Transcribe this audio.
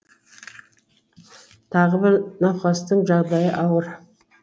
тағы бір науқастың жағдайы ауыр